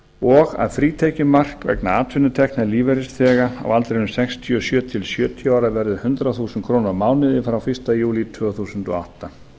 og að frítekjumark vegna atvinnutekna ellilífeyrisþega á aldrinum sextíu og sjö til sjötíu ára verður hundrað þúsund krónur á mánuði frá fyrsta júlí tvö þúsund og átta